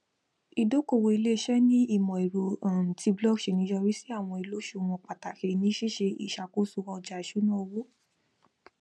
ìdókòòwò iléiṣẹ ní ìmọẹrọ um ti blockchain yọrí sí àwọn ìlòṣùwọn pàtàkì ní ṣíṣe ìṣàkóso ọjà ìṣúná owó